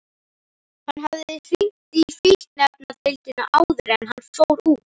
Hann hafði hringt í fíkniefnadeildina áður en hann fór út.